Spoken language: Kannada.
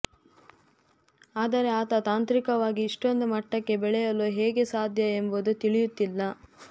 ಆದರೆ ಆತ ತಾಂತ್ರಿಕವಾಗಿ ಇಷ್ಟೊಂದು ಮಟ್ಟಕ್ಕೆ ಬೆಳೆಯಲು ಹೇಗೆ ಸಾಧ್ಯ ಎಂಬುದು ತಿಳಿಯುತ್ತಿಲ್ಲ